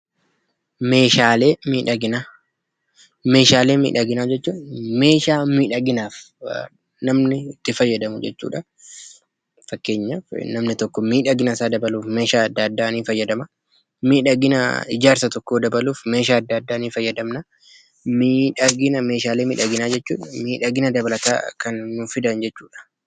Meeshaalee miidhaginaa jechuun meeshaa miidhaginaaf namni itti fayyadamu jechuudha. Namni tokko miidhagina isaa dabaluuf, akkasumas miidhagina ijaarsa tokkoo dabaluuf meeshaalee adda addaa ni fayyadama.